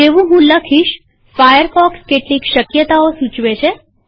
જેવું હું લખીશફાયરફોક્સ કેટલીક શક્યતાઓ સૂચવે છે